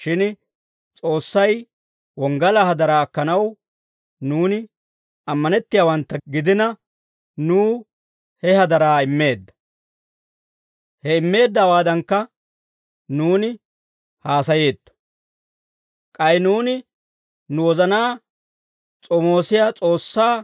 Shin S'oossay wonggalaa hadaraa akkanaw nuuni ammanettiyaawantta gidina, nuw he hadaraa immeedda; he immeeddawaadankka nuuni haasayeetto. K'ay nuuni nu wozanaa s'omoosiyaa S'oossaa